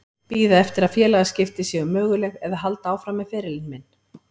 Bíða eftir að félagaskipti séu möguleg eða halda áfram með ferilinn minn?